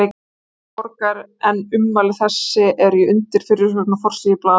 Gallerís Borgar, en ummæli þessi eru í undirfyrirsögn á forsíðu blaðsins.